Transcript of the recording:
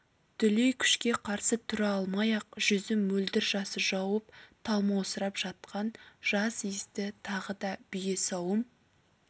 дүлей күшке қарсы тұра алмай ақ жүзін мөлдір жасы жауып талмаусырап жатқан жас иісті тағы да бие сауым